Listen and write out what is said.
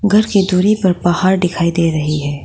ऊपर की दूरी पर पहाड़ दिखाई दे रही है।